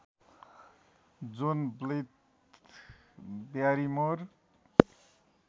John Blyth Barrymore